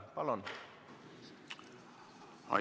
Palun!